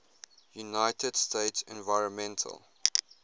united states environmental